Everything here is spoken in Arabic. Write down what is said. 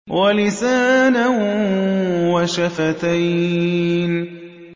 وَلِسَانًا وَشَفَتَيْنِ